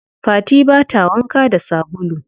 Fati bata wanka da sabulu.